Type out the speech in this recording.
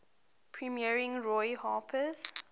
premiering roy harper's